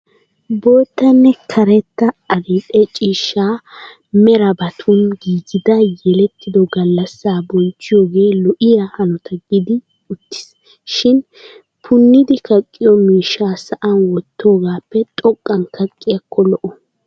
Boottanne karetta adil'e ciishsha merabatun giigida yelettido gallassaa bonchchiyogee lo'iya hanota giidi uttis. Shin punnidi kaqqiyo miishshaa sa'an wottiyogappe xoqqan kaqqiyakko lo'o.